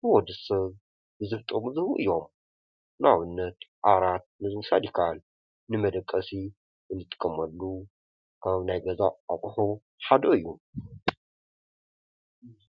ንወዲ ሰብ ብዙሕ ጥቅሚ ዝህቡ እዮም፡፡ ንኣብነት ዓራት ንምውሳድ ይካኣል፡፡ ንመደቀሲ እንጥቀመሉ ካብ ናይ ገዛ ኣቁሑ ሓደ እዩ፡፡